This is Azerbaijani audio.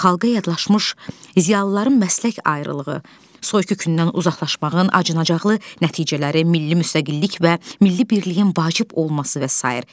Xalqa yadlaşmış ziyalıların məslək ayrılığı, soyqırıkından uzaqlaşmağın acınacaqlı nəticələri, milli müstəqillik və milli birliyin vacib olması və sair.